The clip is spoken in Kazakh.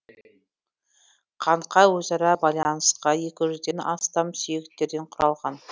қанқа өзара байланысқан екі жүзден астам сүйектерден құралған